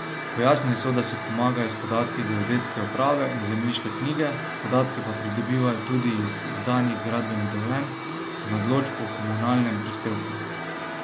Pojasnili so, da si pomagajo s podatki geodetske uprave in zemljiške knjige, podatke pa pridobivajo tudi iz izdanih gradbenih dovoljenj in odločb o komunalnem prispevku.